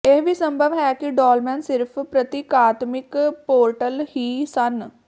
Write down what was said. ਇਹ ਵੀ ਸੰਭਵ ਹੈ ਕਿ ਡੌਲਮੇਨ ਸਿਰਫ਼ ਪ੍ਰਤੀਕਾਤਮਿਕ ਪੋਰਟਲ ਹੀ ਸਨ